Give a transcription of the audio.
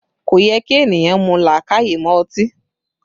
Kò yẹ kí ènìyàn mú làákàyè mọ́ ọtí